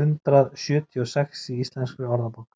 hundrað sjötíu og sex í íslenskri orðabók